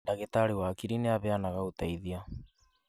Ndagĩtarĩ wa hakiri nĩ aheanaga ũteithio